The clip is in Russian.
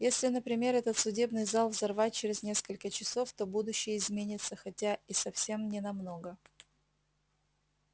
если например этот судебный зал взорвать через несколько часов то будущее изменится хотя и совсем не намного